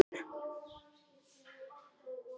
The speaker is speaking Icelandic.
Mér finnst leitt að þú skulir ekki geta verið viðstaddur.